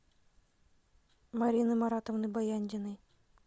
марины маратовны баяндиной